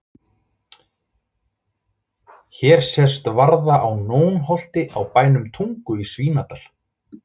Hér sést varða á Nónholti á bænum Tungu í Svínadal.